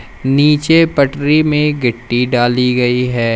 नीचे पटरी में गिट्टी डाली गई है।